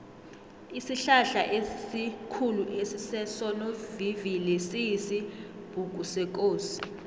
isihlahlaesikhulu esisesonovivili siyisibhukusekosi